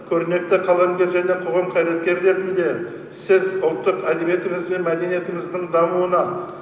көрнекті қаламгер және қоғам қайраткері ретінде сіз ұлттық әдебиетіміз бен мәдениетіміздің дамуына